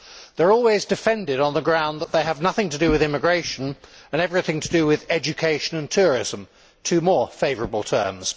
They are always defended on the grounds that they have nothing to do with immigration and everything to do with education and tourism two more favourable terms.